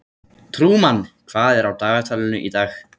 Trúmann, hvað er á dagatalinu í dag?